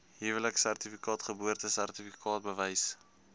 huweliksertifikaat geboortesertifikaat bewys